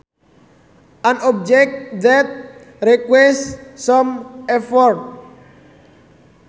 An object that requires some effort